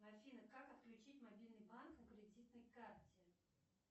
афина как отключить мобильный банк на кредитной карте